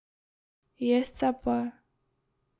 Jest se pa.